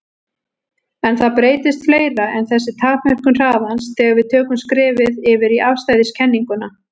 En það breytist fleira en þessi takmörkun hraðans þegar við tökum skrefið yfir í afstæðiskenninguna.